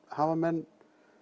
hafa menn